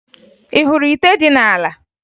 Ị hụrụ ite dị n'ala?